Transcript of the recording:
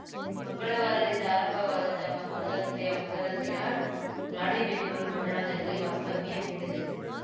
ಮಂಗಳವಾರದಿಂದ ಆರಂಭವಾದ ತಮ್ಮ ಪಾದಯಾತ್ರೆ ಮೊದಲ ದಿನ ರಾಣೆಬೆನ್ನೂರು ಪಟ್ಟಣದಲ್ಲಿ ವಾಸ್ತವ್ಯ ಹೂಡಿದೆವು